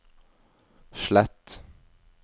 slett